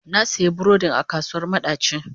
Na sayi burodin a kasuwar madaci.